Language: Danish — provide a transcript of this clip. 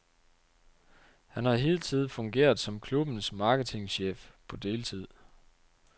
Han har hidtil fungeret som klubbens marketingchef på deltid.